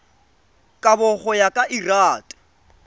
kabo go ya ka lrad